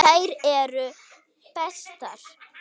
Þær eru bestar.